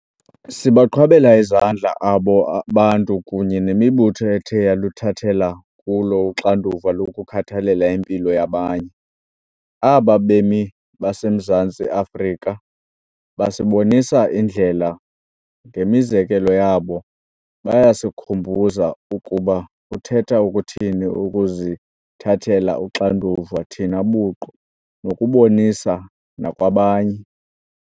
Sibaqhwabela izandla abo bantu kunye nemibutho ethe yaluthathela kulo uxanduva lokukhathalela impilo yabanye. Aba bemi baseMzantsi Afrika basibonisa indlela. Ngemizekelo yabo, bayasikhumbuza ukuba kuthetha ukuthini ukuzithathela uxanduva thina buqu nokulubonisa nakwabanye.